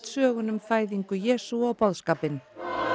söguna um fæðingu Jesú og boðskapinn